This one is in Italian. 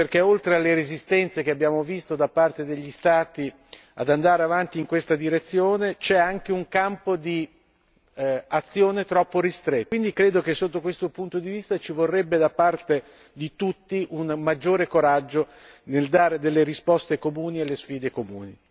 Quindi non è ancora sufficiente perché oltre alle resistenze che abbiamo visto da parte degli Stati ad andare avanti in questa direzione, c'è anche un campo di azione troppo ristretto e quindi credo che sotto questo punto di vista ci vorrebbe da parte di tutti un maggiore coraggio nel dare delle risposte comuni alle sfide comuni.